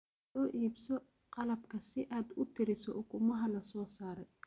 Soo iibso qalabka si aad u tiriso ukumaha la soo saaray.